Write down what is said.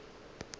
ke be ke rata go